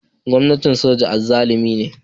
Gwamnan soja azzalumi ne